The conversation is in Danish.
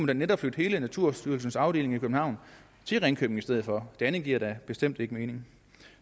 da netop flytte hele naturstyrelsens afdeling i københavn til ringkøbing i stedet for det andet giver da bestemt ikke mening